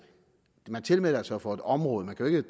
man tilmelder sig jo for et område man kan jo